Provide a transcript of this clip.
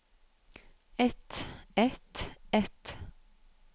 et et et